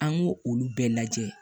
An y'o olu bɛɛ lajɛ